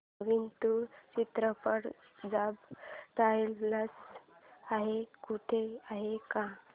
नवीन तुळू चित्रपट subtitles सह कुठे आहे का